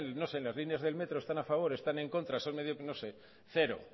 en no sé en las líneas del metro están a favor están en contra son medios no sé cero